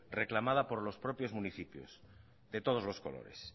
reclamada por los propios municipios de todos los colores